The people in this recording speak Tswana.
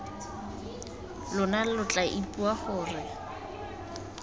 lona lo tla ipua gore